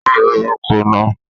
O ro oko náà.